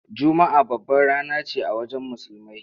Juma’a babbar rana ce a wajen Musulmai.